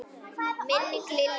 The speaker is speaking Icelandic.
Minning Lilju mun lifa.